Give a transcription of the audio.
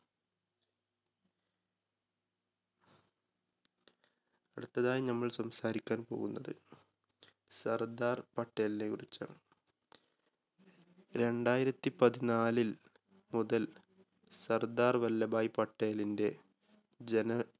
അടുത്തതായി നമ്മൾ സംസാരിക്കാൻ പോകുന്നത് സർദാർ പട്ടേലിനെ കുറിച്ചാണ്. രണ്ടായിരത്തി പതിനാലിൽ മുതൽ സർദാർ വല്ലഭായി പട്ടേലിൻ്റെ ജനന